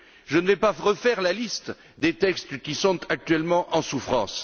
Je ne vais pas refaire la liste des textes qui sont actuellement en souffrance.